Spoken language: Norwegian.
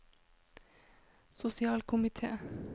sosialkomite